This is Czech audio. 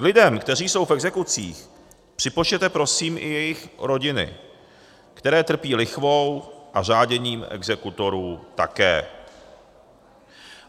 K lidem, kteří jsou v exekucích, připočtěte prosím i jejich rodiny, které trpí lichvou a řáděním exekutorů také.